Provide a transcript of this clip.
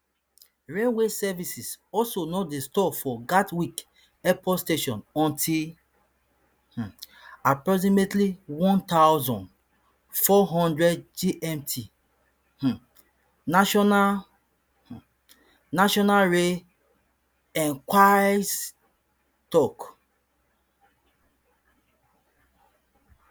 railway services also no dey stop for gatwick airport station until um approximately one thousand, four hundred gmt um national um national rail enquiries tok